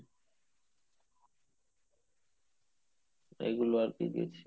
এগুলো আরকি গেছি